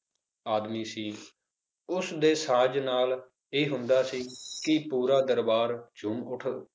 ਆਦਮੀ ਸੀ ਉਸਦੇ ਸਾਜ ਨਾਲ ਇਹ ਹੁੰਦਾ ਸੀ ਕਿ ਪੂਰਾ ਦਰਬਾਰ ਝੂਮ ਉੱਠ